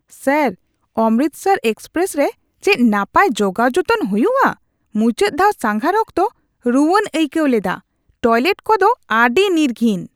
Sir, Amritsar express ᱨᱮ ᱪᱮᱫ ᱱᱟᱯᱟᱭ ᱡᱚᱜᱟᱣ ᱡᱚᱛᱚᱱ ᱦᱩᱭᱩᱜᱼᱟ? ᱢᱩᱪᱟᱹᱫ ᱫᱷᱟᱣ ᱥᱟᱸᱜᱷᱟᱨ ᱚᱠᱛᱚ ᱨᱩᱣᱟᱹᱧ ᱟᱹᱭᱠᱟᱹᱣ ᱞᱮᱫᱟ ᱾ ᱴᱚᱭᱞᱮᱴ ᱠᱚᱫᱚ ᱟᱹᱰᱤ ᱱᱤᱨᱜᱷᱤᱱ ᱾